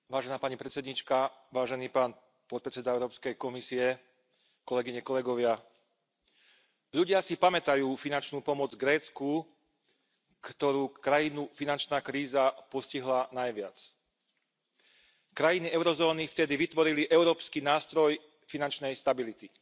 Vážená pani predsedajúca, vážený pán podpredseda Európskej Komisie, ľudia si pamätajú finančnú pomoc Grécku ako krajinu, ktorú finančná kríza postihla najviac. Krajiny eurozóny vtedy vytvorili Európsky nástroj finančnej stability.